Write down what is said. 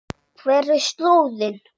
Hver er slóðin?